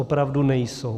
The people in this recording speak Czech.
Opravdu nejsou.